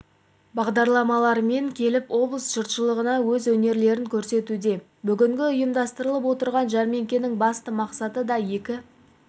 бағдарламаларымен келіп облыс жұртшылығына өз өнерлерін көрсетуде бүгінгі ұйымдастырылып отырған жәрмеңкенің басты мақсаты да екі